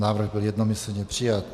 Návrh byl jednomyslně přijat.